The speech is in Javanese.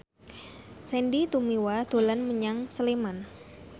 Sandy Tumiwa dolan menyang Sleman